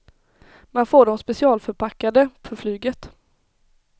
Man får dem specialförpackade för flyget.